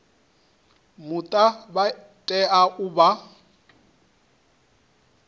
muta vha tea u vha